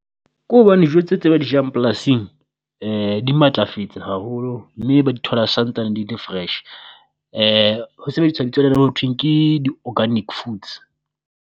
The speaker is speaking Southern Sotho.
Ko hobane jo tse tse ba di jang polasing di matlafetse haholo mme ba di thola santsane di le fresh, ho sebeditswa bitso le le ho thweng ke di organic foods.